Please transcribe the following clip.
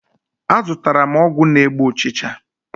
Azụtara m ọgwụ na-egbu ụchịcha.